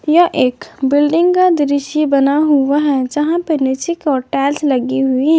यह एक बिल्डिंग का दृश्य बना हुआ है जहां पे नीचे की ओर टाइल्स लगी हुई--